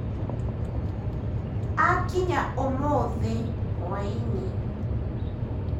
Akinya uũmũthĩ hwainĩ.